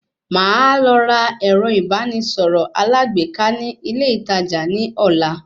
Màá lọ ra ẹ̀rọ ìbánisọ̀rọ̀ alágbèéká ní ilé ìtajà ní ọ̀la